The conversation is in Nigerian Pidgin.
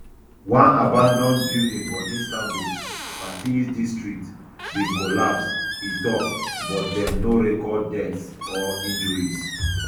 one abanAcceptedd building for istanbul fatih district bin collapse e tok but dem no record deaths or injuries